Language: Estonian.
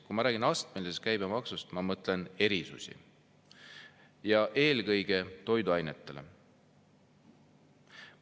Kui ma räägin astmelisest käibemaksust, siis ma mõtlen erisusi ja eelkõige toiduainetele.